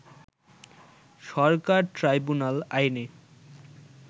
সরকার tribunal আইনে